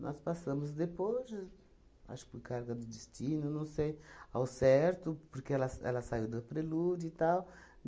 Nós passamos depois j, acho que por carga do destino, não sei, ao certo, porque ela sa ela saiu da Prelude e tal.